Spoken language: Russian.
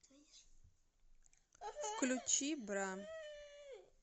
включи бра